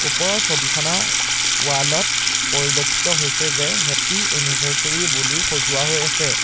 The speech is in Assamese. ওপৰৰ ছবিখনৰ ৱাল ত পৰিলক্ষিত হৈছে যে হাপ্পী এনিভাৰচেৰী বুলি সজোৱা হৈ আছে।